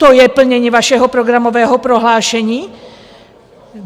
To je plnění vašeho programového prohlášení?